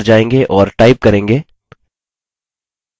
हम बिंदु क्रमांक 2 पर जायेंगे और टाइप करेंगे